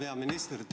Hea peaminister!